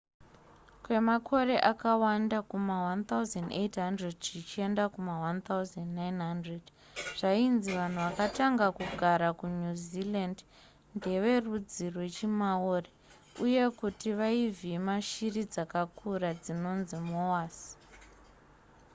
kwemakore akawanda kuma1800 zvichienda kuma1900 zvainzi vanhu vakatanga kugara kunew zealand ndeverudzi rwechimaori uye kuti vaivhima shiri dzakakura dzinonzi moas